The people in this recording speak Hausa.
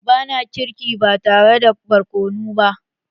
Ba na girki ba tare da borkonu ba.